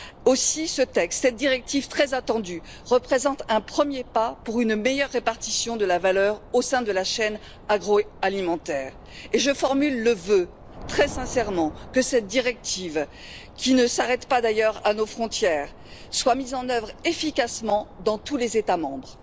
Aussi ce texte, cette directive très attendue, représente un premier pas pour une meilleure répartition de la valeur au sein de la chaîne agroalimentaire et je formule le vœu, très sincèrement, que cette directive, qui ne s'arrête d'ailleurs pas à nos frontières, soit mise en œuvre efficacement dans tous les États membres.